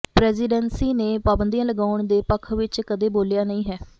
presidency ਨੇ ਪਾਬੰਦੀਆਂ ਲਗਾਉਣ ਦੇ ਪੱਖ ਵਿੱਚ ਕਦੇ ਬੋਲਿਆ ਨਹੀਂ ਹੈ